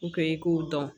i k'o dɔn